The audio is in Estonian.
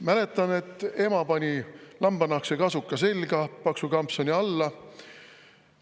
Mäletan, et ema pani lambanahkse kasuka selga, paksu kampsuni selle alla.